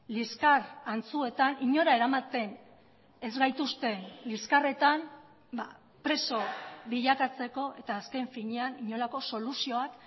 liskar antzuetan inora eramaten ez gaituzten liskarretan preso bilakatzeko eta azken finean inolako soluzioak